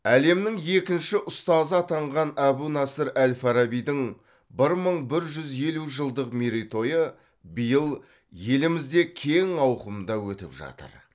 әлемнің екінші ұстазы атанған әбу насыр әл фарабидің бір мың бір жүз елу жылдық мерейтойы биыл елімізде кең ауқымда өтіп жатыр